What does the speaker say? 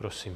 Prosím.